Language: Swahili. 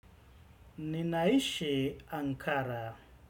Nina ishi Ankara.